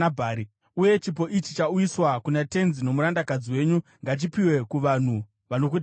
Uye chipo ichi chauyiswa kuna tenzi nomurandakadzi wenyu ngachipiwe kuvanhu vanokuteverai.